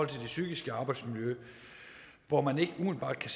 det psykiske arbejdsmiljø hvor man ikke umiddelbart kan